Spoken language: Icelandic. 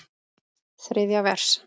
Þriðja vers.